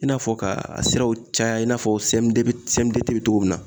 I n'a fɔ ka a siraw caya i n'a fɔ bɛ cogo min na